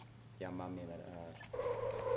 yamamerari